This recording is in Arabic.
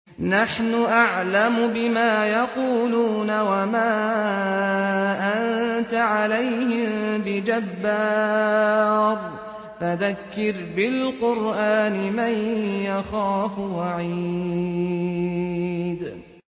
نَّحْنُ أَعْلَمُ بِمَا يَقُولُونَ ۖ وَمَا أَنتَ عَلَيْهِم بِجَبَّارٍ ۖ فَذَكِّرْ بِالْقُرْآنِ مَن يَخَافُ وَعِيدِ